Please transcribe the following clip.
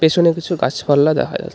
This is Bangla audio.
পেছনে কিছু গাছপালা দেখা যা--